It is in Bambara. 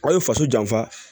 Aw ye faso janfa